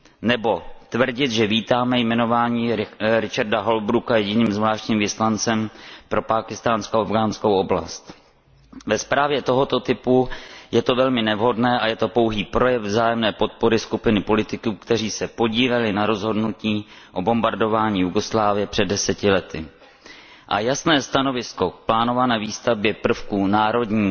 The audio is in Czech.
Nebo tvrdit, že vítáme jmenování Richarda Holbrooka jediným zvláštním vyslancem pro pákistánsko afghánskou oblast je ve zprávě tohoto typu velmi nevhodné a je to pouhý projev vzájemné podpory skupinky politiků, kteří se podíleli na rozhodnutí o bombardování Jugoslávie před deseti lety. A jasné stanovisko k plánované výstavbě prvků Národní